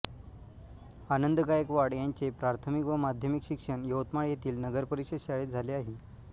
आनंद गायकवाड यांचे प्राथमिक व माध्यमिक शिक्षण यवतमाळ येथील नगरपरिषद शाळेत झाले आहे